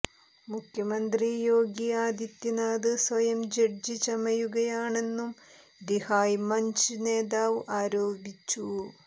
മുഖ്യമന്ത്രി യോഗി ആതിഥ്യനാഥ് സ്വയം ജഡ്്ജി ചമയുകയാണെന്നും രിഹായ് മഞ്ച് നേതാവ് ആരോപിച്ചു